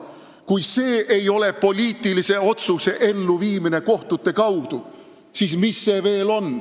Kui see ei olnud poliitilise otsuse elluviimine kohtute kaudu, siis mis on?